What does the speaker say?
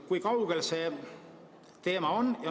Kui kaugel see teema on?